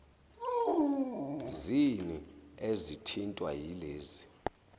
zini ezithintwa yilezi